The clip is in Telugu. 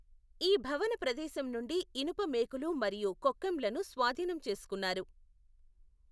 ఈ భవన ప్రదేశం నుండి ఇనుప మేకులు మరియు కొక్కెంలను స్వాధీనం చేసుకున్నారు.